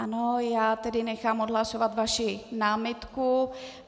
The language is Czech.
Ano, já tedy nechám odhlasovat vaši námitku.